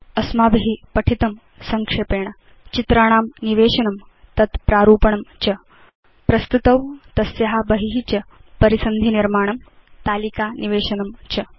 अस्माभि पठितं संक्षेपेण चित्राणां निवेशनं तत् प्रारूपणं च प्रस्तुतौ तस्या बहि च परिसन्धिनिर्माणं तालिका निवेशनं च